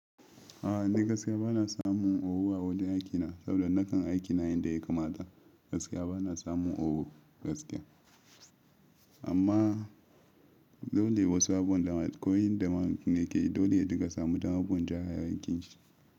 A'a ni gaskiya bana samun owu a wajen aikina saboda nakan aiki na yadda ya kamata gaskiya bana samun owu gaskiya amma dole wasu abuwan damar ko yin damar ni ke yi dole ka samu damar bun ja rayuwar kin shi.